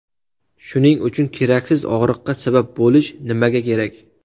Shuning uchun keraksiz og‘riqqa sabab bo‘lish nimaga kerak?